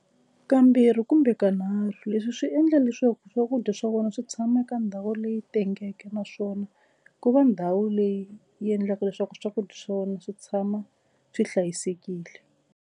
Kambirhi kumbe kanharhu leswi swi endla leswaku swakudya swa wena swi tshama eka ndhawu leyi tengeke naswona ku va ndhawu leyi yi endlaka leswaku swakudya swa wena swi tshama swi hlayisekile.